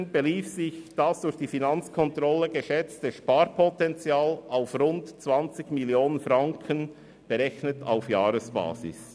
2017 belief sich das durch die Finanzkontrolle geschätzte Sparpotenzial auf rund 20 Mio. Franken, berechnet auf Jahresbasis.